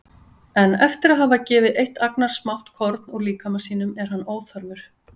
En eftir að hafa gefið eitt agnarsmátt korn úr líkama sínum er hann óþarfur.